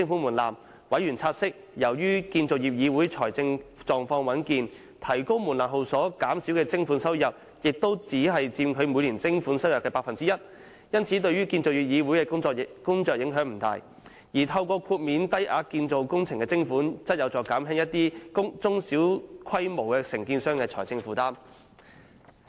委員察悉，由於建造業議會財政狀況穩健，而提高門檻後所減少的徵款收入亦只佔其每年徵款收入約 1%， 因此對於建造業議會的工作影響不大；透過豁免低額建造工程的徵款，則有助減輕一些中小規模承建商的財政負擔。